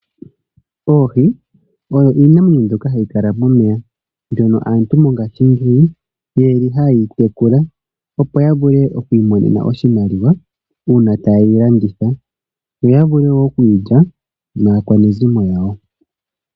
Oohi oyo iinamwenyo ndyoka hayi kala momeya ndyono aantu mongaashingeyi hayeyi tekula opo yavule oku imonena oshimaliwa uuna yedhi landitha yoya vule wo okudhilya naakwanezimo lyawo.